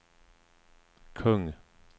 kung